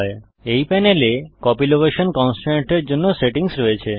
এই প্যানেলে copy location কন্সট্রেন্টের জন্য সেটিংস রয়েছে